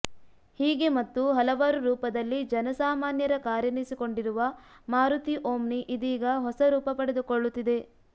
ಹೀಗೆ ಹತ್ತು ಹಲವಾರು ರೂಪದಲ್ಲಿ ಜನಸಾಮಾನ್ಯರ ಕಾರೆನಿಸಿಕೊಂಡಿರುವ ಮಾರುತಿ ಓಮ್ನಿ ಇದೀಗ ಹೊಸ ರೂಪ ಪಡೆದುಕೊಳ್ಳುತ್ತಿದೆ